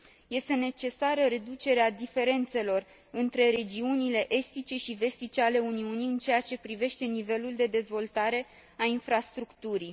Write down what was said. Este necesară reducerea diferențelor între regiunile estice și vestice ale Uniunii în ceea ce privește nivelul de dezvoltare a infrastructurii.